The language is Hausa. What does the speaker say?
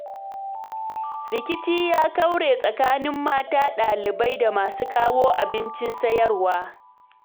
Rikici ya kaure tsakanin mata ɗalibai da masu kawo abincin sayarwa.